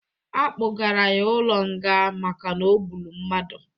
A kpụgara ya ụlo nga maka n'ọgbụrụ mmadụ